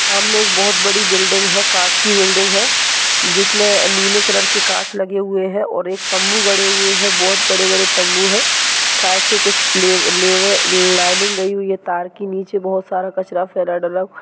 सामने बहुत बड़ी बिल्डिंग है काच की बिल्डिंग है। जिसमे नीले कलर के काच लगे हुए है और तम्बू गाड़े हुए है बहुत बड़े बड़े तम्बू है साइड से लेव लेवार लाइनिंग गई हुई है तार के नीचे बहुत सारा कचरा फेला हुआ है।